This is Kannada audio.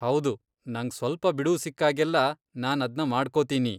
ಹೌದು, ನಂಗ್ ಸ್ವಲ್ಪ ಬಿಡುವು ಸಿಕ್ಕಾಗೆಲ್ಲಾ ನಾನ್ ಅದ್ನ ಮಾಡ್ಕೊತೀನಿ.